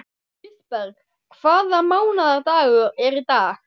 Kristberg, hvaða mánaðardagur er í dag?